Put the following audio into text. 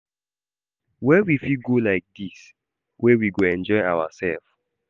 Where we fit go like this wey we go enjoy ourself?